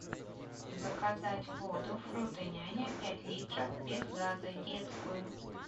заказать воду фрутоняня пять литров без газа детскую